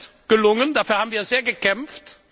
Das ist gelungen, dafür haben wir sehr gekämpft.